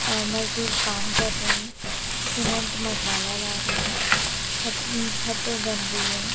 आम मजदूर काम कर रहे हैं सीमेंट मसाला ला रहे हैं छत म छत बन रही है।